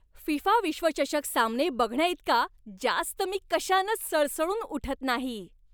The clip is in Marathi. फिफा विश्वचषक सामने बघण्याइतका जास्त मी कशानंच सळसळून उठत नाही.